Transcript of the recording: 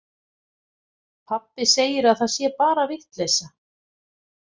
Pabbi segir að það sé bara vitleysa.